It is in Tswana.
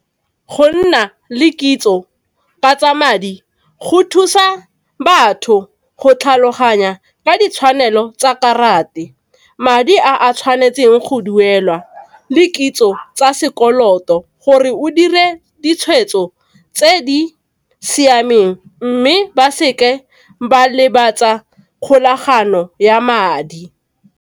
Go nna le kitso ka tsa madi go thusa batho go tlhaloganya ka ditshwanelo tsa karate, madi a a tshwanetseng go duelwa, le kitso tsa sekoloto gore o dire ditshwetso tse di siameng mme ba seke ba lebatsa kgolagano ya madi.